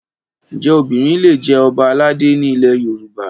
Ǹjẹ́ obìnrin lè jẹ Ọba aládé ni ilẹ̀ Yorùbá?